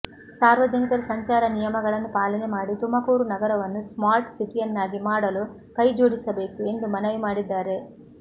ಸಾರ್ವಜನಿಕರು ಸಂಚಾರ ನಿಯಮಗಳನ್ನು ಪಾಲನೆ ಮಾಡಿ ತುಮಕೂರು ನಗರವನ್ನು ಸ್ಮಾರ್ಟ್ ಸಿಟಿಯನ್ನಾಗಿ ಮಾಡಲು ಕೈ ಜೋಡಿಸಬೇಕು ಎಂದು ಮನವಿ ಮಾಡಿದ್ದಾರೆ